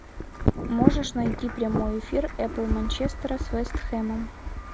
можешь найти прямой эфир апл манчестера с вест хэмом